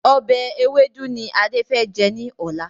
Ọbẹ̀ ewédú ni Adé fẹ jẹ́ ní ọ̀la.